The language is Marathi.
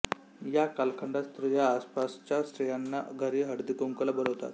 या कालखंडात स्त्रिया आसपासच्या स्त्रियांना घरी हळदीकुंकवाला बोलावतात